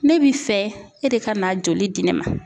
Ne bi fɛ e de ka n'a joli di ne ma.